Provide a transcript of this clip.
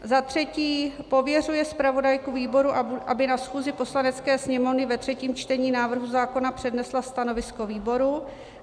Za třetí pověřuje zpravodajku výboru, aby na schůzi Poslanecké sněmovny ve třetím čtení návrhu zákona přednesla stanovisko výboru.